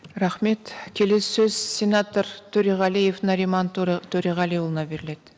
рахмет келесі сөз сенатор төреғалиев нариман төреғалиұлына беріледі